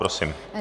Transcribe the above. Prosím.